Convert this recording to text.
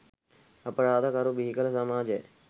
අපරාද කරු බිහිකළ සමාජයයි.